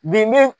Bi be